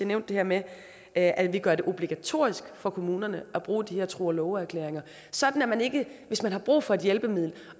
nævnte det med at vi gør det obligatorisk for kommunerne at bruge de her tro og love erklæringer sådan at man ikke hvis man har brug for et hjælpemiddel